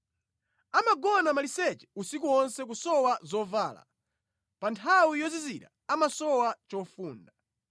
Amagona maliseche usiku wonse kusowa zovala; pa nthawi yozizira amasowa chofunda.